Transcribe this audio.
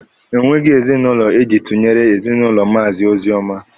Enweghị ezinụlọ eji tụnyere ezinụlọ Maazi Ozioma.